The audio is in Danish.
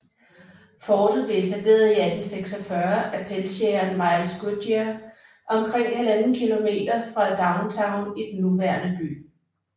Fortet blev etableret i 1846 af pelsjægeren Miles Goodyear omkring 1½ km fra downtown i den nuværende by